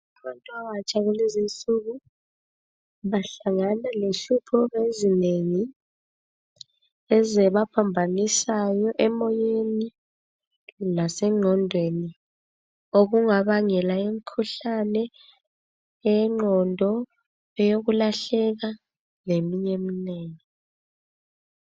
Abantu abatsha kulezinsuku bahlanga lenhlupho ezinengi ezibaphambanisayo emoyeni lasenqondweni okungabangela imikhuhlane yenqondo leyokulahleka leminye eminengi.